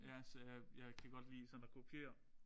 Ja så jeg kan godt lide sådan at kopiere